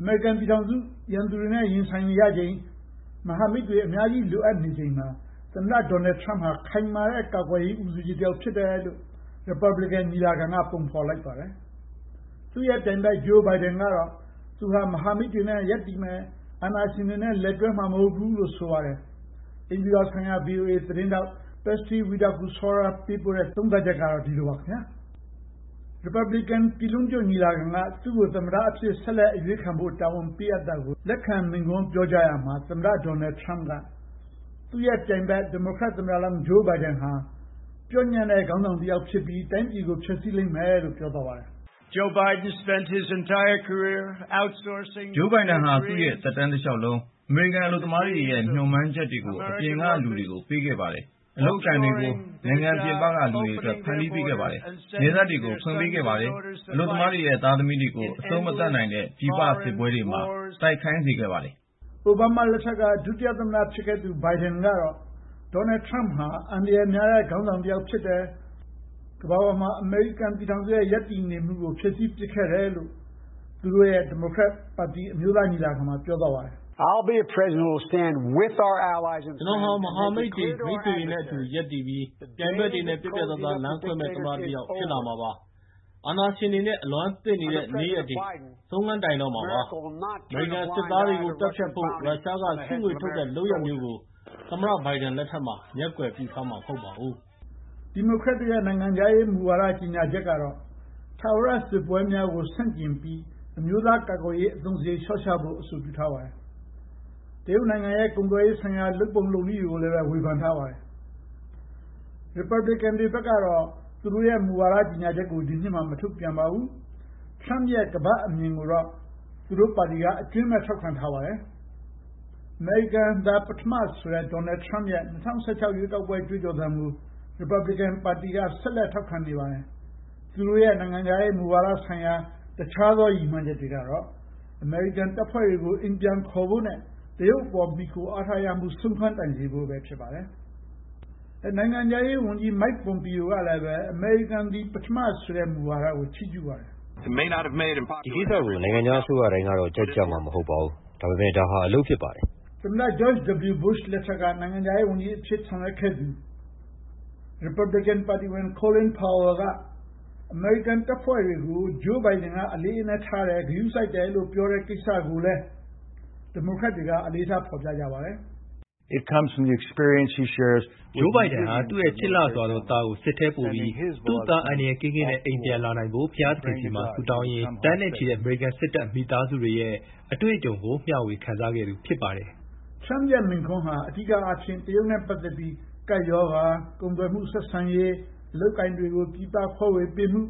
အမေရိကန်ပြည်ထောင်စု ရန်သူတွေနဲ့ ရင်ဆိုင်နေရချိန် မဟာမိတ်တွေ အများကြီး လိုအပ်နေချိန်မှာ သမ္မတ Donald Trump ဟာ ခိုင်မာတဲ့ ကာကွယ်ရေးဦးစီးချုပ် တယောက် ဖြစ်တယ်လို့ ရီပတ်ဘလစ်ကန် ညီလာခံက ပုံဖော်လိုက်ပါတယ်။ သူ့ရဲ့ပြိုင်ဘက် Joe Biden ကတော့ သူဟာ မဟာမိတ်တွေနဲ့ ရပ်တည်မယ်၊ အာဏာရှင်တွေနဲ့တော့ လက်တွဲမှာ မဟုတ်ပါဘူးလို့ ဆိုပါတယ်။ အိမ်ဖြူတော်ဆိုင်ရာ ဗွီအိုအေသတင်းထောက် Pasty Widakuswara ပေးပို့တဲ့ သုံးသပ်ချက်ကို ဦးကျော်ဇံသာ တင်ပြပေးထားပါတယ်။ ရီပတ်ဘလစ်ကန် ပြည်လုံးကျွတ်ညီလာခံက သူ့ကို သမ္မတအဖြစ် ဆက်လက်အရွေးခံဖို့ တာဝန်ပေးအပ်တာကို လက်ခံမိန့်ခွန်း ပြောကြားရာမှာ သမ္မတ Donald Trump က သူ့ရဲ့ပြိုင်ဘက် ဒီမိုကရက် သမ္မတလောင်း Joe Biden ဟာ ပျော့ညံ့တဲ့ ခေါင်းဆောင်တယောက်ဖြစ်ပြီး တိုင်းပြည်ကို ဖျက်ဆီးလိမ့်မယ်လို့ ပြောသွားပါတယ်။ “Joe Biden ဟာ သူ့ရဲ့ သက်တမ်းတလျှောက်လုံး အမေရိကန် အလုပ်သမားတွေရဲ့ မျှော်မှန်းချက်တွေကို အပြင်ကလူတွေကို ပေးခဲ့ပါတယ်။ အလုပ်အကိုင်တွေကို နိုင်ငံပြင်ပက လူတွေအတွက် ဖန်တီးပေးခဲ့တယ်၊ နယ်စပ်တွေကို ဖွင့်ပစ်ခဲ့တယ်။ အလုပ်သမားတွေရဲ့ သားသမီးတွေကို အဆုံးမသတ်နိုင်တဲ့ ပြည်ပစစ်ပွဲတွေမှာ တိုက်ခိုက်ခိုင်းခဲ့ပါတယ်။” အိုဘားမားလက်ထက်က ဒုသမ္မတဖြစ်ခဲ့သူ Biden ကတော့ Donald Trump ဟာ အန္တရာယ်များတဲ့ ခေါင်းဆောင်တယောက်ဖြစ်တယ်၊ အမေရိကန်ရဲ့ ရပ်တည်ချက်ကို ဖျက်ဆီးပစ်ခဲ့တယ်လို့ သူတို့ ဒီမိုကရက်ပါတီ အမျိုးသားညီလာခံမှာ ပြောသွားခဲ့ပါတယ်။ “ကျနော်ဟာ မဟာမိတ်တွေ၊ မိတ်ဆွေတွေနဲ့ အတူရပ်တည်ပြီး ပြိုင်ဘက်တွေနဲ့ ပြတ်ပြတ်သားသား လမ်းခွဲမယ့် သမ္မတ တယောက် ဖြစ်လာမှာပါ။ အာဏာရှင်တွေနဲ့ အလွမ်းသင့်နေတဲ့ နေ့ရက်တွေ ဆုံးခန်းတိုင်တော့မှာပါ။ အမေရိကန်စစ်သားတွေကို သတ်ဖြတ်ဖို့အတွက် ရုရှားက ဆုငွေထုတ်တဲ့ လုပ်ရပ်မျိုးကို သမ္မတ Biden လက်ထက်မှာ မျက်ကွယ်ပြုထားမှာ မဟုတ်ပါဘူး။” ဒီမိုကရက်တို့ရဲ့ နိုင်ငံခြားရေးမူဝါဒ ကြေညာချက်ကတော့ ထာဝရစစ်ပွဲများကို ဆန့်ကျင်ပြီး အမျိုးသားကာကွယ်ရေး အသုံးစရိတ်ကို လျှော့ချဖို့ အဆိုပြုထားပါတယ်။ တရုတ်နိုင်ငံရဲ့ ကုန်သွယ်ရေးဆိုင်ရာ လုပ်ပုံလုပ်နည်းတွေကိုလည်း ဝေဖန်ထားပါတယ်။ ရီပတ်ဘလစ်ကန်တွေကတော့ မူဝါဒကြေညာချက်ကို ဒီနှစ်မှာ မထုတ်ပြန်ပေမယ့် Trump ရဲ့ ကမ္ဘာ့အမြင်ကိုတော့ ပါတီက အကြွင်းမဲ့ ထောက်ခံထားပါတယ်။ အမေရိကန်သာ ပထမဆိုတဲ့ Donald Trump ရဲ့ ၂၀၁၆ ရွေးကောက်ပွဲ ကြွေးကြော်သံကို ရီပတ်ဘလစ်ကန်ပါတီက ဆက်လက်ထောက်ခံနေပါတယ်။ သူတို့ရဲ့ နိုင်ငံခြားရေးမူဝါဒဆိုင်ရာ တခြားရည်မှန်းချက်တွေကတော့ အမေရိကန် တပ်ဖွဲ့တွေကို အိမ်ပြန်ခေါ်ဖို့နဲ့ တရုတ်အပေါ် မှီခိုအားထားရမှု ဆုံးခန်းတိုင်စေဖို့တို့ပဲ ဖြစ်ပါတယ်။ နိုင်ငံခြားရေးဝန်ကြီး Mike Pompeo ကလည်း အမေရိကန်သည် ပထမဆိုတဲ့ မူဝါဒကို ချီးကျူးခဲ့ပါတယ်။ “ဒီကိစ္စကို နိုင်ငံခြားအစိုးရတိုင်းကတော့ ကြိုက်ကြမှာ မဟုတ်ပါဘူး။ ဒါပေမယ့် ဒါဟာ အလုပ်ဖြစ်ပါတယ်။” သမ္မတ George W Bush လက်ထက်က နိုင်ငံခြားရေးဝန်ကြီးအဖြစ် ဆောင်ရွက်ခဲ့သူ ရီပတ်ဘလစ်ကန် ပါတီဝင် Collin Powell က အမေရိကန်တပ်ဖွဲ့တွေကို Joe Biden က အလေးထား ဂရုစိုက်တယ်လို့ ပြောတဲ့ကိစ္စကိုလည်း ဒီမိုကရက်တွေက အလေးထားကြပါတယ်။ “Joe Biden ဟာ သူ့ရဲ့ ချစ်လှစွာသော သားကို စစ်ထဲပို့ပြီး သူ့သား အန္တရာယ်ကင်းကင်းနဲ့ အိမ်ပြန်လာနိုင်ဖို့ ဘုရားသခင်ဆီမှာ ဆုတောင်းရင်း သန်းနဲ့ချီတဲ့ အမေရိကန်စစ်တပ် မိသားစုတွေရဲ့ အတွေ့အကြုံကို မျှဝေခံစားခဲ့သူ ဖြစ်ပါတယ်။” Trump ရဲ့ မိန့်ခွန်းဟာ အဓိကအားဖြင့် တရုတ်နဲ့ပတ်သက်ပြီး ကပ်ရောဂါ၊ ကုန်သွယ်မှုဆက်ဆံရေး၊ အလုပ်အကိုင်တွေကို ပြည်ပခွဲဝေပေးမှု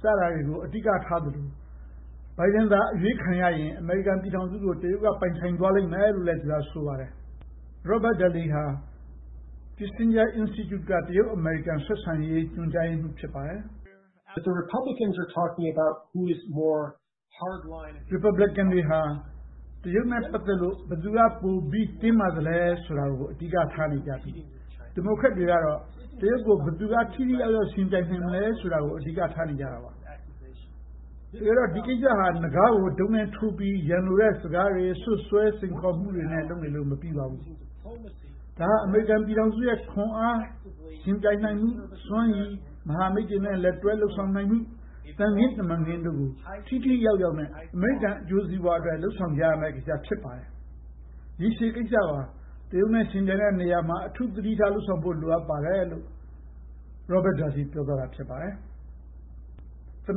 စတာတွေကို အဓိကထားသလို Biden သာ အရွေးခံရရင် အမေရိကန်ပြည်ထောင်စုကို တရုတ်က ပိုင်ဆိုင်သွားလိမ့်မယ်လို့ ဆိုပါတယ်။ Robert Daly ဟာ ကစ်ဆင်ဂျာအင်စတီကျုက တရုတ်-အမေရိကန် ဆက်ဆံရေးဌာန ညွှန်ကြားရေးမှူး ဖြစ်ပါတယ်။ “ရီပတ်ဘလစ်ကန်တွေဟာ တရုတ်နဲ့ပတ်သက်လို့ ဘယ်သူကပိုပြီး တင်းမာသလဲ ဆိုတာကို ပြောနေကြပြီး ဒီမိုကရက်တွေကတော့ တရုတ်ကို ဘယ်သူကပိုပြီး ထိထိရောက်ရောက် ယှဉ်ပြိုင်နိုင်မလဲ ဆိုတာကို ပြောနေကြတာပါ။ ဒီကိစ္စဟာ နဂါးကို ဒုတ်နဲ့ထိုးပြီး ရန်လိုတဲ့စကားတွေ စွပ်စွဲ စိန်ခေါ်မှုတွေ လုပ်နေရုံနဲ့ မပြီးပါဘူး။ ဒါဟာ အမေရိကန်ပြည်ထောင်စုရဲ့ ခွန်အား၊ ယှဉ်ပြိုင်နိုင်မှုစွမ်းရည်၊ မဟာမိတ်တွေနဲ့ လက်တွဲလုပ်ဆောင်နိုင်မှု သံခင်းတမန်ခင်းတို့ကို ထိထိရောက်ရောက်နဲ့ အမေရိကန် အကျိုးစီးပွားအတွက် လုပ်ဆောင်ရမယ့်ကိစ္စ ဖြစ်ပါတယ်။ ရေရှည်ကိစ္စပါ။ တရုတ်နဲ့ ယှဉ်ပြိုင်တဲ့နေရာမှာ အထူးသတိထား လုပ်ဆောင်ဖို့ လိုအပ်ပါတယ်။” သ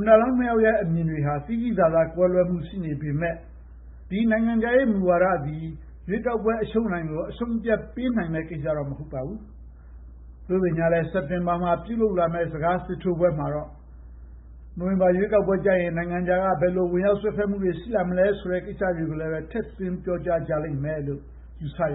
မ္မတလောင်း ၂ ယောက်ရဲ့ အမြင်တွေဟာ သိသိသာသာ ကွဲလွဲမှုရှိပေမယ့် ဒီ နိုင်ငံခြားရေး မူဝါဒဟာ ရွေးကောက်ပွဲ အနိုင်အရှုံးကို အဆုံးအဖြတ်ပေးနိုင်မယ့် ကိစ္စတော့ မဟုတ်ပါဘူး။ စက်တင်ဘာမှာ ပြုလုပ်လာမယ့် စကားစစ်ထိုးပွဲမှာတော့ ရွေးကောက်ပွဲမှာ နိုင်ငံခြားက ဝင်ရောက်စွက်ဖက်မယ့် ကိစ္စတွေကိုလည်း ထည့်သွင်း ပြောကြားကြလိမ့်မယ်လို့ ယူဆရ